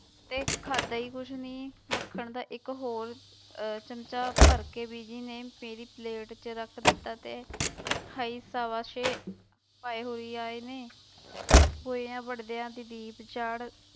ਤੇ ਖਾਧਾ ਹੀ ਕੁਛ ਨੀ, ਮੱਖਣ ਦਾ ਇੱਕ ਹੋਰ ਅਹ ਚਮਚਾ ਭਰ ਕੇ ਬੀਜੀ ਨੇ ਮੇਰੀ ਪਲੇਟ ਚ ਰੱਖ ਦਿੱਤਾ ਤੇ ਹਈ ਸਾਵਾ ਸੇ ਭਾਏ ਹੋਈ ਆਏ ਨੇ ਬੂਹਿਆਂ ਵੜਦਿਆਂ